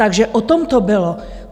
Takže o tom to bylo.